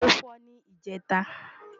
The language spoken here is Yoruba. ó́ fọ́ ní ìjẹta